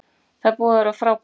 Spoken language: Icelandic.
Það er búið að vera frábært